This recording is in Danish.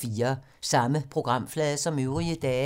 Samme programflade som øvrige dage